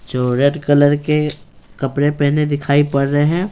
जो red colour के कपड़े पहने दिखाई पड़ रहे हैं।